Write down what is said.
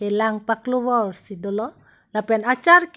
lang paklo vor si dolo lapen achar ke--